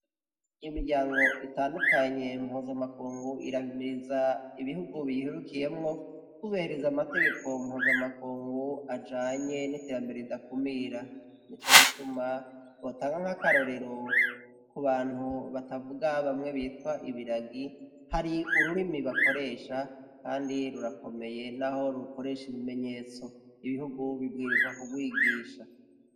Imiryango itandukanye mpozamakungu irabimiriza ibihugu biherukiyemwo kubeheriza amategeko mpozamakungu ajanye .n'iterambere ridakumirra nico gituma botanka nk'akarorero ku bantu batavuga bamwe bitwa ibiragi hari ururimi bakoresha kandi rurakomeye n'aho rukoresha ibimenyetso ibihugu bibwirizwa ku kwigisha.